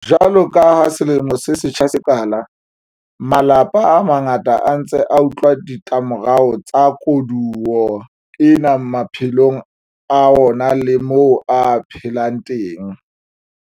Jwalo ka ha selemo se setjha se qala, malapa a mangata a ntse a utlwela ditlamorao tsa koduwa ena maphelong a ona le moo a phelang teng.